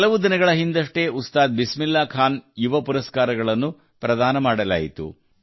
ಕೆಲವು ದಿನಗಳ ಹಿಂದಷ್ಟೇ ಉಸ್ತಾದ್ ಬಿಸ್ಮಿಲ್ಲಾ ಖಾನ್ ಯುವ ಪುರಸ್ಕಾರಗಳನ್ನು ಪ್ರದಾನ ಮಾಡಲಾಯಿತು